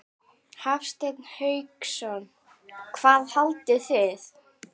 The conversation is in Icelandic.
Hafsteinn Hauksson: Hvað haldið þið?